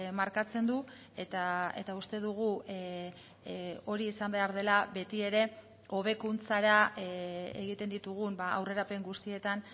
markatzen du eta uste dugu hori izan behar dela beti ere hobekuntzara egiten ditugun aurrerapen guztietan